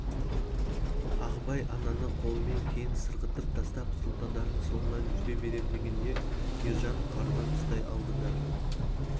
ағыбай ананы қолымен кейін сырғытып тастап сұлтандардың соңынан жүре берем дегенде ержан қарынан ұстай алды да